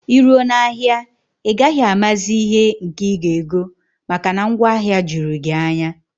Iruo na ahịa a, ị gaghị amazi ihe nke ị ga ego, maka na ngwaahịa jụrụ gị anya